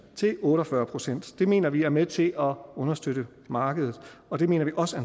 til otte og fyrre procent det mener vi er med til at understøtte markedet og det mener vi også